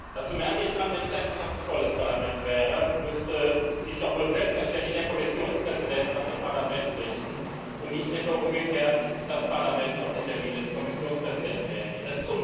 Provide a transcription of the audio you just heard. Dazu merke ich an Wenn dies ein kraftvolles Parlament wäre, müsste sich doch wohl selbstverständlich der Kommissionspräsident nach dem Parlament richten und nicht etwa umgekehrt das Parlament auf die Termine des Kommissionspräsidenten reagieren.